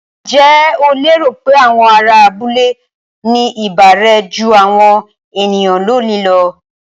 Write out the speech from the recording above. Ǹjẹ́ o lérò pé àwọn ará abúlé ní ìbárẹ́ jú àwọn ènìyàn lónìí lọ?